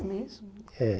É mesmo? É